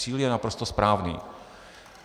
Cíl je naprosto správný.